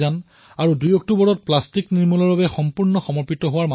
আৰু ২ অক্টোবৰ সম্পূৰ্ণ প্লাষ্টিকৰ বাবে